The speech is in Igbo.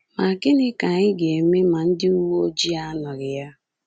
Ma gịnị ka anyị ga-eme ma ndị uwe ojii anọghị ya?